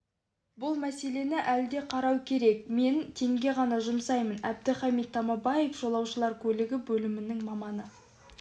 бұл мәселені әлі де қарау керек мен теңге ғана жұмсаймын әбдіхамит тамабаев жолаушылар көлігі бөлімінің маманы